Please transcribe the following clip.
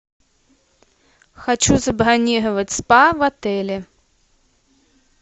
хочу забронировать спа в отеле